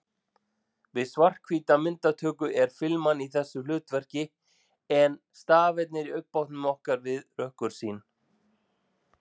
Við svarthvíta myndatöku er filman í þessu hlutverki en stafirnir í augnbotnum okkar við rökkursýn.